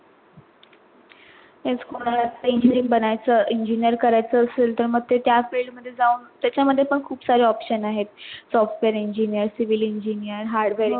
तेच कोणाला engineer बनायचं engineering करायच असेल तर ते त्या field मध्ये जाऊन त्याचा मध्ये पण खूप सारे option आहेत software engineer, civil engineer, hardware